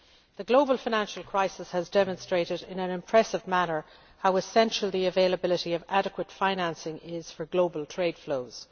The global financial crisis has demonstrated in an impressive manner how essential the availability of adequate financing is for global trade flows.